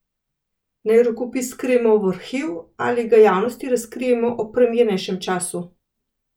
Naj rokopis skrijemo v arhiv in ga javnosti razkrijemo ob primernejšem času?